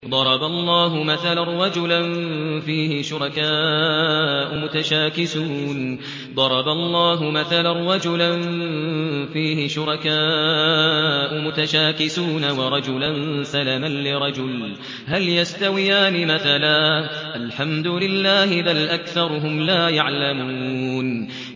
ضَرَبَ اللَّهُ مَثَلًا رَّجُلًا فِيهِ شُرَكَاءُ مُتَشَاكِسُونَ وَرَجُلًا سَلَمًا لِّرَجُلٍ هَلْ يَسْتَوِيَانِ مَثَلًا ۚ الْحَمْدُ لِلَّهِ ۚ بَلْ أَكْثَرُهُمْ لَا يَعْلَمُونَ